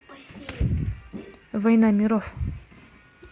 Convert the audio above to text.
война миров